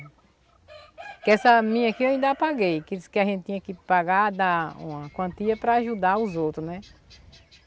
Que essa minha aqui eu ainda paguei, que a gente tinha que pagar, dar uma quantia para ajudar os outros, né?